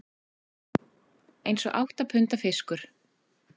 Eins og átta punda fiskur